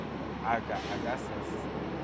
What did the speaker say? a ka a ka se